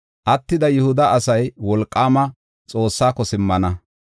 Attida Yihuda asay Wolqaama Xoossaako simmana.